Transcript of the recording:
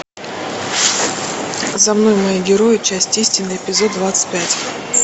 за мной мои герои часть истины эпизод двадцать пять